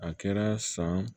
A kɛra san